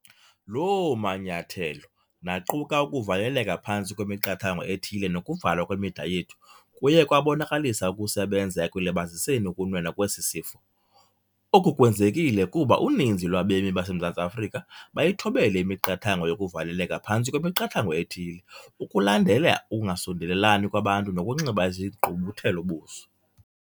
Loo manyathelo - naquka ukuvaleleka phantsi kwemiqathango ethile nokuvalwa kwemida yethu - kuye kwabonakalisa ukusebenza ekulibaziseni ukunwenwa kwesi sifo. Oku kwenzekile kuba uninzi lwabemi baseMzantsi Afrika bayithobele imiqathango yokuvaleleka phantsi kwemiqathango ethile, ukulandela ukungasondelelani kwabantu nokunxiba izigqubuthelo-buso.